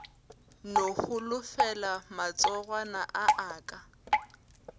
no holofela matsogwana a aka